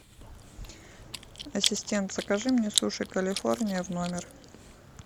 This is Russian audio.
ассистент закажи мне суши калифорния в номер